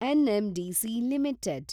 NMDC limited